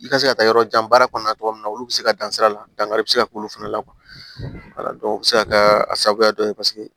I ka se ka taa yɔrɔ jan baara kɔnɔna cogo min na olu bɛ se ka dan sira la dankari bɛ se ka k'olu fana la o bɛ se ka kɛ a sababuya dɔ ye paseke